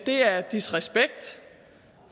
det er disrespekt